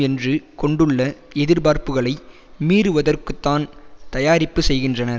என்று கொண்டுள்ள எதிர்பார்ப்புக்களை மீறுவதற்குத்தான் தயாரிப்பு செய்கின்றனர்